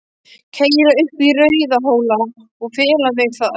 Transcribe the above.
Keyra upp í Rauðhóla og fela mig þar.